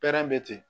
Pɛrɛn bɛ ten